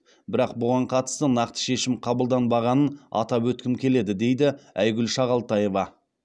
бірақ бұған қатысты нақты шешім қабылданбағанын атап өткім келеді дейді айгүл шағалтаева